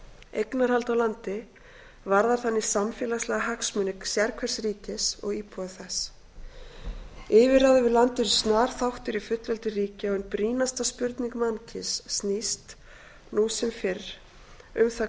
eignarhald á landi varðar þannig samfélagslega hagsmuni sérhvers ríkis og íbúa þess yfirráð yfir landi eru snar þáttur í fullveldi ríkja og ein brýnasta spurning mannkyns snýst nú sem fyrr um það